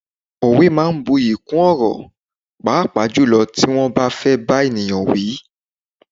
Òwe máa ń bu'yi kún ọ̀rọ̀, pàápàá jùlọ tí wọ́n bá fẹ́ bá ènìyàn wí.